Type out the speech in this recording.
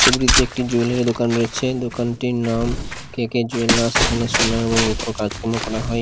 ছবিটিতে একটি জুয়েলারী দোকান রয়েছে দোকানটির নাম কে কে জুয়েলার্স এখানে সোনা এবং রুপোর কাজকর্ম করা হয়।